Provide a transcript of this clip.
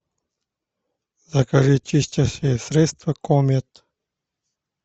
закажи чистящее средство комет